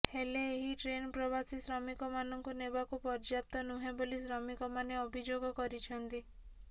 ହେଲେ ଏହି ଟ୍ରେନ ପ୍ରବାସୀ ଶ୍ରମିକମାନଙ୍କୁ ନେବାକୁ ପର୍ଯ୍ୟାପ୍ତ ନୁହେଁ ବୋଲି ଶ୍ରମିକମାନେ ଅଭିଯୋଗ କରିଛନ୍ତି